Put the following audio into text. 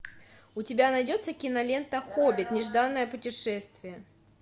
у тебя найдется кинолента хоббит нежданное путешествие